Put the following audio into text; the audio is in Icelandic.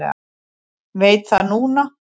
Veit það núna.